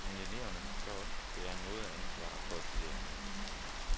Men eleverne må så også bære noget af ansvaret for, at de lærer noget.